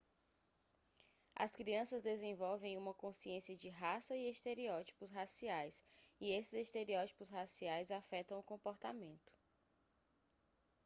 as crianças desenvolvem uma consciência de raça e estereótipos raciais e esses estereótipos raciais afetam o comportamento